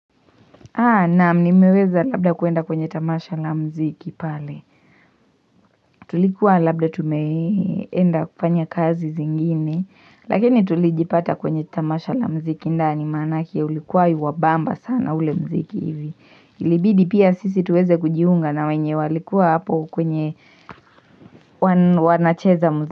Naam nimeweza labda kuenda kwenye tamasha la mziki pale. Tulikuwa labda tumeenda kufanya kazi zingine. Lakini tulijipata kwenye tamasha la mziki. Ndani maanake ulikuwa iwa bamba sana ule mziki hivi. Ilibidi pia sisi tuweze kujiunga na wenye walikuwa hapo kwenye wanacheza mziki.